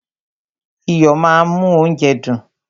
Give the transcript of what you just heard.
Iyo máa ń mú óúnjẹ dùn.